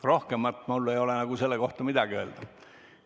Rohkemat mul ei ole selle kohta midagi öelda.